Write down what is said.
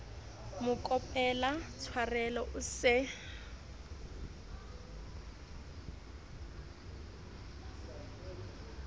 mo kopela tshwarelo o se